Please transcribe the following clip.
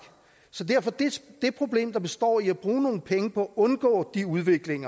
så det problem der består i at bruge nogle penge på at undgå den udvikling